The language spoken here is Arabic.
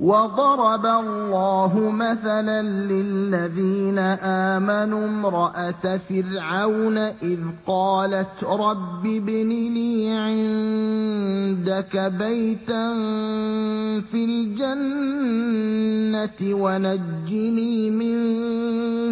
وَضَرَبَ اللَّهُ مَثَلًا لِّلَّذِينَ آمَنُوا امْرَأَتَ فِرْعَوْنَ إِذْ قَالَتْ رَبِّ ابْنِ لِي عِندَكَ بَيْتًا فِي الْجَنَّةِ وَنَجِّنِي مِن